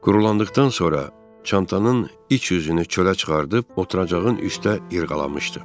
Qurulandıqdan sonra çantanın iç yüzünü çölə çıxarıb oturacağın üstə irğalamışdı.